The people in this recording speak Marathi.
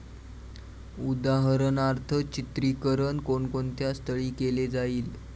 उदाहरणार्थ, चित्रीकरण कोणकोणत्या स्थळी केले जाईल?